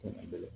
O tuma kɛlɛ